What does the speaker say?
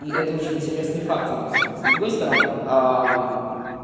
и это очень интересные факты для страны с другой стороны